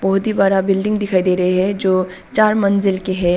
बहुत ही बड़ा बिल्डिंग दिखाई दे रहे है जो चार मंजिल के है।